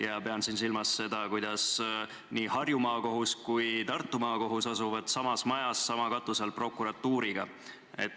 Ma pean silmas seda, et nii Harju Maakohus kui ka Tartu Maakohus asuvad samas majas, sama katuse all prokuratuuriga.